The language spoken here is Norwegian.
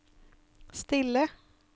stille